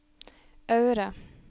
Aure